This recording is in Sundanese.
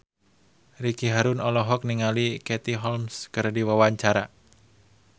Ricky Harun olohok ningali Katie Holmes keur diwawancara